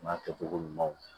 N'a kɛcogo ɲumanw